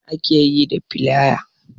Me ake yi da filaya?